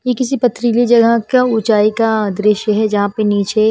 ये किसी पथरीली जगह का ऊंचाई का दृश्य है जहां पर नीचे--